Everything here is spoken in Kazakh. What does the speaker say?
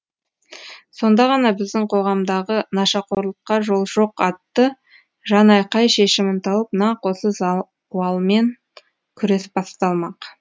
сонда ғана біздің қоғамдағы нашақорлыққа жол жоқ атты жанайқай шешімін тауып нақ осы зауалмен күрес басталмақ